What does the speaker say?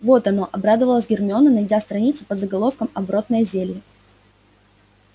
вот оно обрадовалась гермиона найдя страницу под заголовком оборотное зелье